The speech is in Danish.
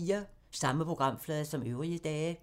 Samme programflade som øvrige dage